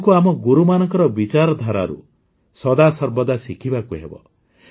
ଆମକୁ ଆମ ଗୁରୁମାନଙ୍କର ବିଚାରଧାରାରୁ ସଦାସର୍ବଦା ଶିଖିବାକୁ ହେବ